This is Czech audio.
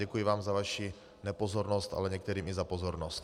Děkuji vám za vaši nepozornost, ale některým i za pozornost.